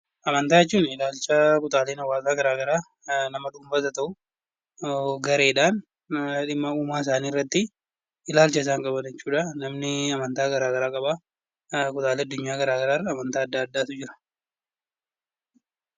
Amantaa jechuun ilaalcha kutaaleen hawaasaa garaagaraa nama dhuunfaas haa ta'uu gareedhaan dhimma uumaa isaanii irratti ilaalcha isaan qaban jechuudha. Namni amantaa garaagaraa qabam kutaalee addunyaa garaagaraa irra amantaa garaagaraatu jira.